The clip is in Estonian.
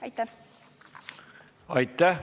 Aitäh!